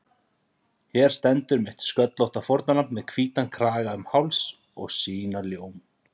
Hér stendur mitt sköllótta fórnarlamb með hvítan kraga um háls og sína ljóm